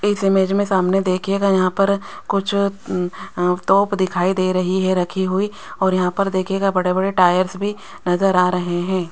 इस इमेज में सामने देखिएगा यहां पर कुछ अ तोप दिखाई दे रही है रखी हुई और यहां पर देखिएगा बड़े बड़े टायर्स भी नजर आ रहे है।